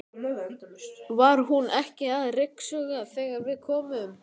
Var hún ekki að ryksuga þegar við komum?